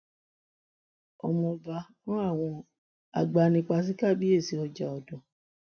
ọmọọba rán àwọn agbanipa sí kàbìyèsí ọjàọdàn